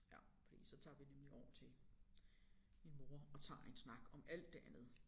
Ja fordi så tager vi nemlig over til min mor og tager en snak om alt det andet